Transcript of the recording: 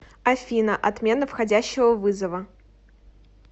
афина отмена входящего вызова